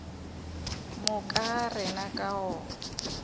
moka ga rena ka go